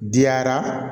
Diyara